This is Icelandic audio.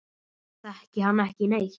Þekki hann ekki neitt.